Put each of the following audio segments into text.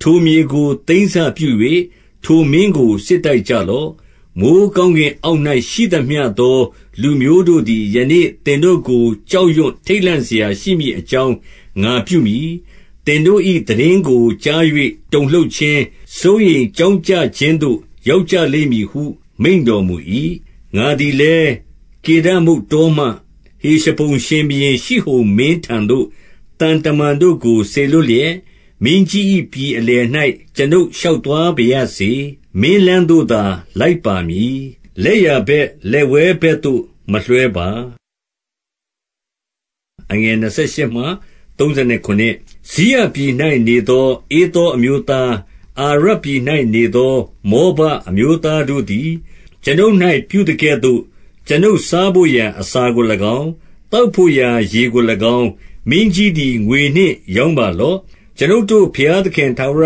ထိုမြေကို သိမ်းစပြု၍ ထိုမင်းကို စစ်တိုက် ကြလော့။ 25 မိုဃ်းကောင်းကင်အောက်၌ ရှိသမျှသောလူမျိုး တို့သည် ယနေ့ သင်တို့ကို ကြောက်ရွံ့ထိတ်လန့်စရှိ မည်အကြောင်း ငါပြုမည်။ သင်တို့၏သိတင်းကို ကြား၍ တုန်လှုပ်ခြင်း၊ စိုးရိမ်ကြောင့်ကြခြင်းသို့ ရောက်ကြလိမ့် မည်ဟု မိန့်တော်မူ၏။ 26 ငါသည်လည်း၊ ကေဒမုတ်တောမှ ဟေရှဘုန် ရှင်ဘုရင်ရှိဟုန်မင်းထံသို့ သံတမန်တို့ကို စေလွှတ်လျက်၊ 27 မင်းကြီး၏ ပြည်အလယ်၌ ကျွန်ုပ်ရှောက်သွားပါရစေ။ မင်းလမ်းသို့သာ လိုက်ပါမည်။ လက်ျာဘက်လက်ဝဲ ဘက်သို့မလွှဲပါ။ 28 စိရပြည်၌နေသော ဧသောအမျိုးသား၊ အာရ ပြည်၌နေသော မောဘအမျိုးသားတို့သည် ကျွန်ုပ်၌ ပြုသကဲ့သို့ ကျွန်ုပ်စားဘို့ရာ အစာကို၎င်း၊ သောက်ဘို့ ရာ ရေကို၎င်း၊ မင်းကြီးသည် ငွေနှင့်ရောင်းပါလော့။ 29 ကျွန်ုပ်တို့ဘုရားသခင် ထာဝရ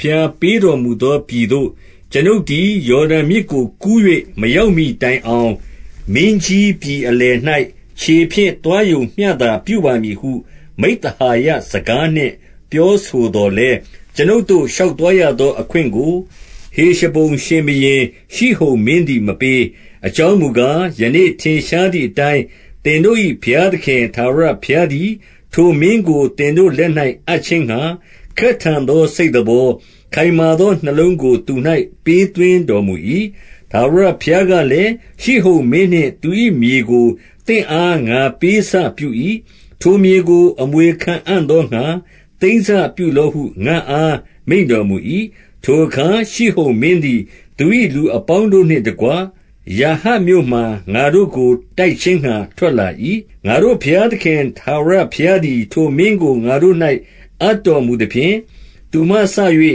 ဘုရား ပေးတော်မူသော ပြည်သို့ ကျွန်ုပ်သည် ယော်ဒန်မြစ်ကို ကူး၍ မရောက်မှီ တိုင်အောင် မင်းကြီး ပြည်အလယ်၌ ခြေဖြင့်သွားရုံမျှသာ ပြုပါမည်ဟု မိဿဟာယစကားနှင့် ပြောဆိုသော်လည်း၊ 30 ကျွန်ုပ်တို့ ရှောက်သွားရသော အခွင့်ကို ဟေရှဘုန်ရှင်ဘုရင် ရှိဟုန်မင်းသည် မပေး။ အကြောင်း မူကား၊ ယနေ့ ထင်ရှားသည်အတိုင်း၊ သင်တို့၏ ဘုရားသခင် ထာဝရဘုရားသည် ထိုမင်းကို သင်တို့ လက်၌ အပ်ခြင်းငှါ၊ ခက်ထန်သော စိတ်သဘော၊ ခိုင်မာသောနှလုံးကို သူ၌ ပေးသွင်းတော်မူ၏။ 31 ထာဝရဘုရားကလည်း၊ ရှိဟုန်မင်းနှင့် သူ၏ မြေကို သင့်အား ငါပေးစပြု၏။ ထိုမြေကို အမွေခံအံ့ သောငှါ၊ သိမ်းစပြုလော့ဟု ငါ့အား မိန့်တော်မူ၏။ 32 ထိုအခါ ရှိဟုန်မင်းသည် သူ၏လူအပေါင်းတို့ နှင့်တကွ ယာဟတ်မြို့မှာ ငါတို့ကိုတိုက်ခြင်းငှါ ထွက်လာ၏။- 33 ငါတို့ဘုရားသခင်ထာဝရဘုရားသည်ထိုမင်းကို ငါတို့၌ အပ်တော်မူသဖြင့် သူမှစ၍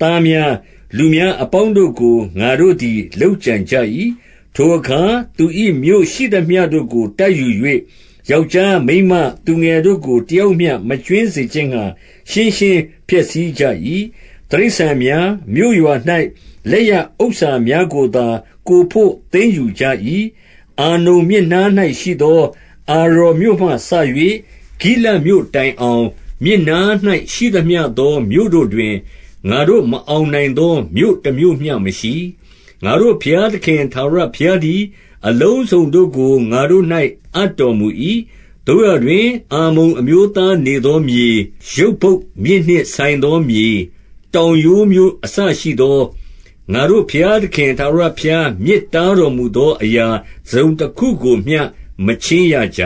သားများ၊ လူများအပေါင်းတို့ကို ငါတို့သည် လုပ်ကြံကြ၏။ 34 ထိုအခါ သူ၏မြို့ရှိသမျှတို့ကို တိုက်ယူ၍၊ ယောက်ျားမိန်းမ သူငယ်တို့ကို တယောက်မျှ မကြွင်း စေခြင်းငှါ ရှင်းရှင်းဖျက်ဆီးကြ၏။ 35 တိရစ္ဆာန်များ၊ မြို့ရွာ၌လက်ရဥစ္စာများကိုသာ ကိုယ်ဘို့ သိမ်းယူကြ၏။ 36 အာနုန်မြစ်နား၌ရှိသော အာရော်မြို့မှစ၍ ဂိလဒ်မြို့တိုင်အောင်၊ မြစ်နား၌ ရှိသမျှသော မြို့တို့တွင် ငါတို့မအောင်နိုင်သော မြို့တမြို့မျှမရှိ။ ငါတို့ဘုရား သခင် ထာဝရဘုရားသည် အလုံးစုံတို့ကို ငါတို့၌ အပ်တော်မူ၏။ 37 သို့ရာတွင် အမ္မုန်အမျိုးသားနေသောမြေ၊ ယဗ္ဗုတ်မြစ်နှင့်ဆိုင်သော မြေ၊ တောင်ရိုးမြို့ အစရှိသော၊ ငါတို့ဘုရားသခင် ထာဝရဘုရား မြစ်တားတော်မူသော အရာတစုံတခုကိုမျှ မချဉ်းရကြ